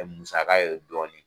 musaka ye dɔɔni